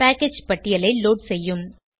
package பட்டியலை load செய்யும்